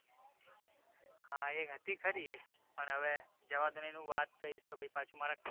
હા એક હતી ખરી એક પણ હવે જવા દો ને એનુ વાત કહીશ તો પાછુ મારા